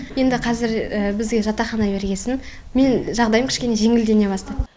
енді қазір бізге жатақхана бергесін менің жағдайым кішкене жеңілдене бастады